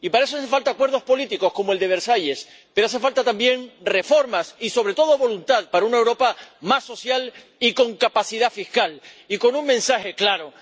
Y para eso hacen falta acuerdos políticos, como el de Versalles, pero hacen falta también reformas, y sobre todo voluntad para una Europa más social y con capacidad fiscal, y con un mensaje claro.